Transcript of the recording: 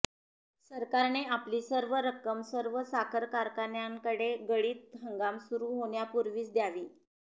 सरकारने आपली सर्व रक्कम सर्व साखर कारखान्यांकडे गळीत हंगाम सुरु होण्यापुर्वीच द्यावी